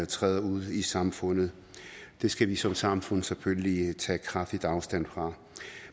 træder ud i samfundet det skal vi som samfund selvfølgelig tage kraftigt afstand fra